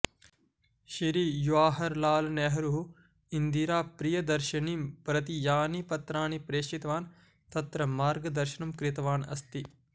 श्री जवाहरलालनेहरुः इन्दिराप्रियदर्शिनीं प्रति यानि पत्राणि प्रेषितवान् तत्र मार्गदर्शनं कृतवान् अस्ति